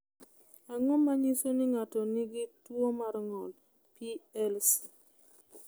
Ang’o ma nyiso ni ng’ato nigi tuwo mar ng’ol (PLC)?